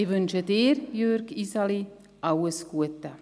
Ich wünsche Ihnen, Jürg Iseli, alles Gute.